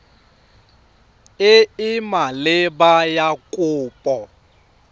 e e maleba ya kopo